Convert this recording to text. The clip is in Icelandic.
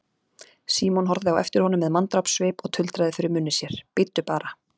Símon horfði á eftir honum með manndrápssvip og tuldraði fyrir munni sér: Bíddu bara.